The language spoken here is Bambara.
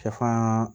Sɛfan